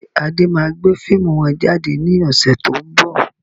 Ṣé Adé máa gbé fíìmù wọn jáde ní ọ̀sẹ̀ to ń bọ̀?